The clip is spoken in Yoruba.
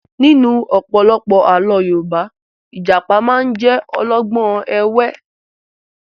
Nínú ọ̀pọ̀lọpọ̀ àlọ́ Yorùbá, Ìjàpá máa ń jẹ́ olọ́gbọ́n ẹ̀wẹ́